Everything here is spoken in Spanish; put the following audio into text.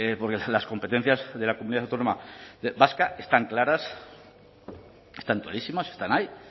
porque las competencias de la comunidad autónoma vasca están claras están clarísimas están ahí